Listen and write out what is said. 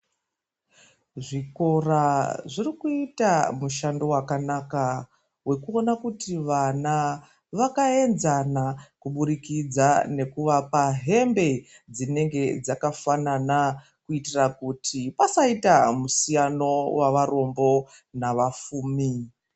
Zvikora zvirikuita mushando wakanaka wekuona kuti vana vakaenzana kuburikidza nekuvapa hembe dzinenge dzakafanana kuitira kuti pasaite musiyano wavarombo navafumi.